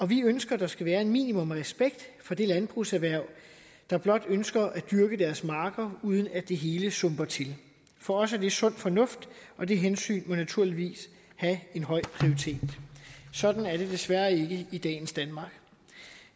vi ønsker at der skal være et minimum af respekt for det landbrugserhverv der blot ønsker at dyrke deres marker uden at det hele sumper til for os er det sund fornuft og det hensyn må naturligvis have en høj prioritet sådan er det desværre ikke i dagens danmark